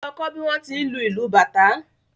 Lọ kọ́ bí wón ti ń lu ìlù bàtá